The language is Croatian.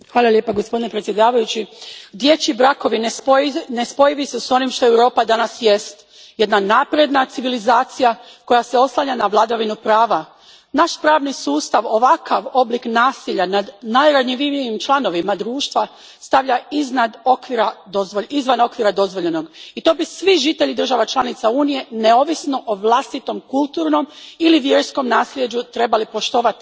Gospodine predsjedniče, dječji brakovi nespojivi su s onim što Europa danas jest jedna napredna civilizacija koja se oslanja na vladavinu prava. Naš pravni sustav ovakav oblik nasilja nad najranjivijim članovima društva stavlja izvan okvira dozvoljenog i to bi svi žitelji država članica Unije, neovisno o vlastitom kulturnom ili vjerskom nasljeđu, trebali poštovati.